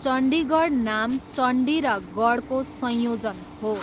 चण्डीगढ नाम चण्डी र गढको संयोजन हो।